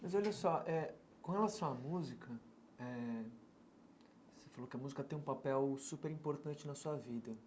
Mas olha só eh, com relação à música eh, você falou que a música tem um papel super importante na sua vida.